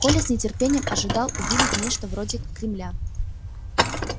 коля с нетерпением ожидал увидеть нечто вроде кремля